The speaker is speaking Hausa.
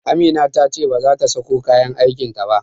Amina ta ce bazata sako kayan aikin ta ba